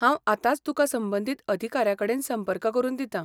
हांव आतांच तुका संबंदीत अधिकाऱ्याकडेन संपर्क करून दितां.